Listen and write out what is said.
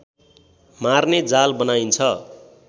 मार्ने जाल बनाइन्छ